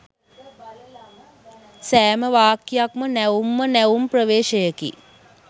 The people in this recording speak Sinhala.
සෑම වාක්‍යයක්ම නැවුම් ම නැවුම් ප්‍රවේශයකි.